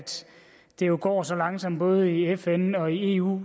det går så langsomt både i fn og i eu